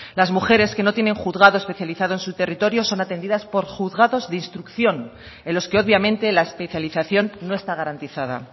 las mujeres que no tienen juzgados especializados en su territorio son atendidas por juzgados de instrucción en los que obviamente la especialización no está garantizada